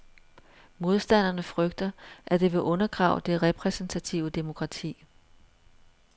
Modstanderne frygter, at det vil undergrave det repræsentative demokrati.